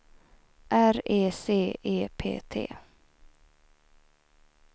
R E C E P T